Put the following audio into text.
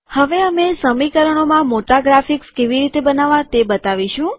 હવે અમે સમીકરણોમાં મોટા ગ્રાફિક્સ કેવી રીતે બનાવવા તે બતાવીશું